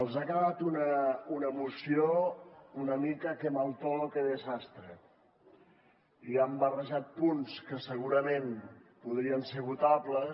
els ha quedat una moció una mica qué mal todo qué desastre i han barrejat punts que segurament podrien ser votables